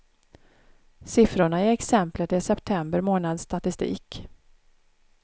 Siffrorna i exemplet är september månads statistik.